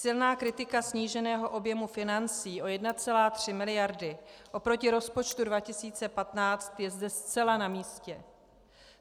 Silná kritika sníženého objemu financí o 1,3 miliardy oproti rozpočtu 2015 je zde zcela namístě.